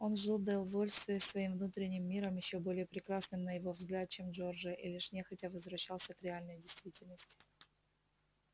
он жил довольствуясь своим внутренним миром ещё более прекрасным на его взгляд чем джорджия и лишь нехотя возвращался к реальной действительности